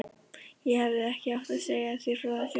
Ég hefði ekki átt að segja þér frá þessu